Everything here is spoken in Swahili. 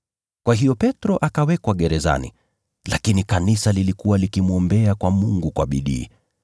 Kwa hiyo Petro akawekwa gerezani, lakini kanisa lilikuwa likimwombea kwa Mungu kwa bidii.